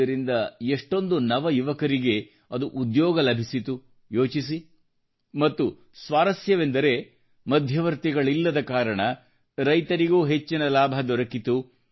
ಇದರಿಂದ ಎಷ್ಟೊಂದು ನವಯುವಕರಿಗೆ ಉದ್ಯೋಗ ಲಭಿಸಿತು ಯೋಚಿಸಿ ಮತ್ತು ಸ್ವಾರಸ್ಯವೆಂದರೆ ಮಧ್ಯವರ್ತಿಗಳಿಲ್ಲದ ಕಾರಣ ರೈತರಿಗೂ ಹೆಚ್ಚಿನ ಲಾಭ ದೊರಕಿತು